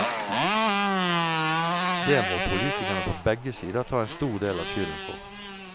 Det må politikerne på begge sider ta en stor del av skylden for.